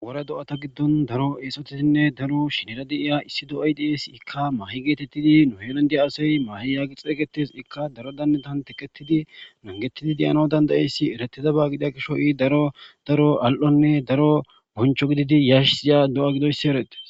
ore do7ata giddon daro eesotiinne daro shinera di iya issi do7aydias ikka maahi geetettidi nuhenandia asay maahi yaagi xeegetes ikka daro dandatan teketidi nangetidi deyano dandayeyssi eretidaba gida kisho i daro daro al7onne daro boncho gididi yash iya do7a gidoyssi erete